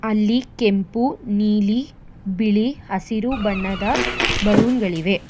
ಅಲ್ಲಿ ಕೆಂಪು ನೀಲಿ ಬಿಳಿ ಹಸಿರು ಬಣ್ಣದ ಬಲೂನ್ ಗಳಿವೆ.